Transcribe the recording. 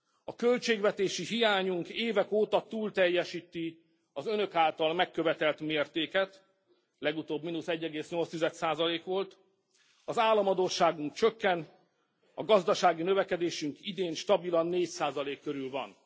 A költségvetési hiányunk évek óta túlteljesíti az Önök által megkövetelt mérteket, legutóbb mínusz 1,8 százalék volt, az államadósságunk csökken, a gazdasági növekedésünk idén stabilan 4 százalék körül van.